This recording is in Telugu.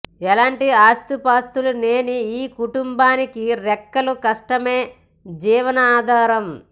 ఎలాంటి ఆస్తిపాస్తులు లేని ఈ కుటుంబానికి రెక్కల కష్టమే జీవనాధారం